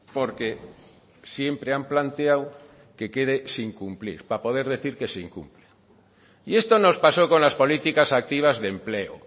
porque siempre han planteado que quede sin cumplir para poder decir que se incumple y esto nos pasó con las políticas activas de empleo